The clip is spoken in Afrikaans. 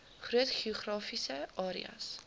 groot geografiese areas